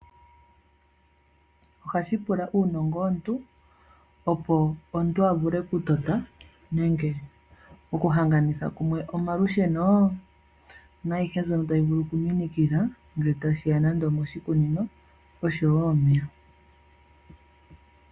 Ohashi pula uunongo womuntu, opo omuntu a vule okutota, nenge okuhanganitha kumwe omalusheno, naayihe mbyono tayi vulu okuminikila ngele tashiya moshikunino.